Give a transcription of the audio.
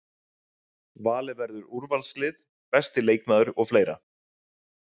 Valið verður úrvalslið, besti leikmaður og fleira.